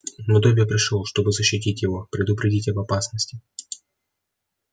но добби пришёл чтобы защитить его предупредить об опасности